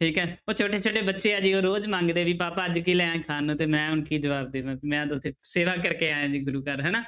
ਠੀਕ ਹੈ ਉਹ ਛੋਟੇ ਛੋਟੇ ਬੱਚੇ ਜੀ ਉਹ ਰੋਜ਼ ਮੰਗਦੇ ਵੀ ਪਾਪਾ ਅੱਜ ਕੀ ਲਿਆਇਆ ਖਾਣ ਨੂੰ ਤੇ ਮੈਂ ਹੁਣ ਕੀ ਜਵਾਬ ਦੇਵਾਂ ਮੈਂ ਤਾਂ ਉੱਥੇ ਸੇਵਾ ਕਰਕੇ ਆਇਆਂ ਜੀ ਗੁਰੂ ਘਰ ਹਨਾ